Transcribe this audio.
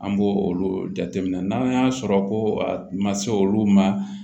An b'o olu jateminɛ n'an y'a sɔrɔ ko a ma se olu ma